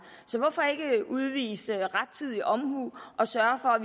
så hvorfor ikke udvise rettidig omhu og sørge for at